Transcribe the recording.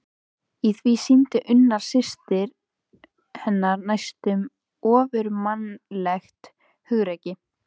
Í því sýndi Unnur systir hennar næstum ofurmannlegt hugrekki.